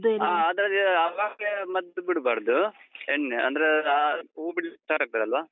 ಹಾ ಅದ್ರದ್ದು ಆವಾಗ್ಲೇ ಮದ್ದು ಬಿಡ್ಬಾರ್ದು. ಎಣ್ಣೆ ಅಂದ್ರೆ ಹೂವ್ ಬಿಡ್ಲಿಕ್ start ಆಗ್ತದಲ್ವಾ?